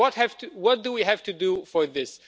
What do we have to do for this?